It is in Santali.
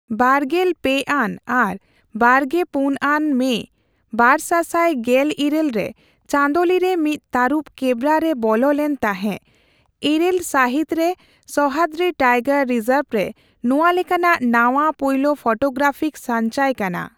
ᱵᱟᱨᱜᱮᱞ ᱯᱮ ᱟᱱ ᱟᱨ ᱵᱟᱨᱜᱮ ᱯᱩᱱ ᱟᱱ ᱢᱮ ᱵᱟᱨᱥᱟᱥᱟᱭ ᱜᱮᱞ ᱤᱨᱟᱹᱞ ᱨᱮ ᱪᱚᱸᱫᱳᱞᱤ ᱨᱮ ᱢᱤᱫ ᱛᱟᱹᱨᱩᱵ ᱠᱮᱵᱽᱵᱨᱟ ᱨᱮ ᱵᱚᱞᱚ ᱞᱮᱱ ᱛᱟᱦᱮᱸ ᱘ ᱥᱟᱦᱚᱛ ᱨᱮ ᱥᱚᱦᱢᱟᱰᱨᱤ ᱴᱟᱭᱜᱚᱨ ᱨᱤᱡᱚᱨᱵ ᱨᱮ ᱱᱚᱣᱟ ᱞᱮᱠᱟᱱᱟᱜ ᱱᱟᱣᱟ ᱯᱩᱭᱞᱳ ᱯᱷᱳᱴᱳᱜᱨᱟᱯᱠ ᱥᱟᱪᱷᱭ ᱠᱟᱱᱟ ᱾